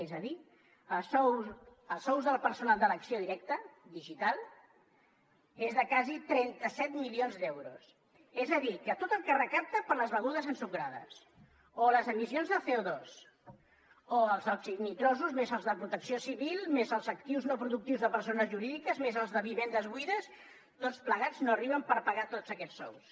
és a dir els sous del personal d’elecció directa digital és de quasi trenta set milions d’euros és a dir que tot el que recapta per les begudes ensucrades o les emissions de coels de protecció civil més els actius no productius de persones jurídiques més els de vivendes buides tots plegats no arriben per pagar tots aquests sous